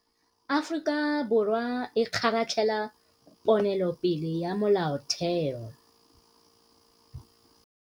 Aforika Borwa e kgaratlhela ponelopele ya Molaotheo.